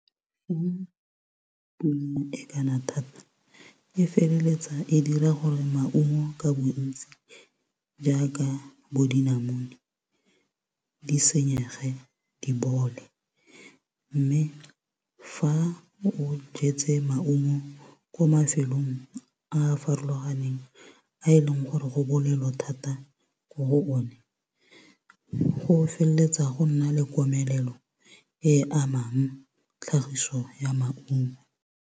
E kana thata e feleletsa e dira gore maungo ka bontsi jaaka bo dinamune, di senyege di bole. Mme fa o jetse maungo kwa mafelong a farologaneng, a e leng gore go bolelo thata ko go o ne, go feleletsa go nna le komelelo e amang tlhagiso ya maungo.